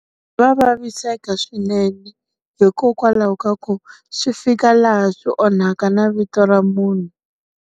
Va vaviseka swinene. Hikokwalaho ka ku, swi fika laha swi onhaka na vito ra munhu.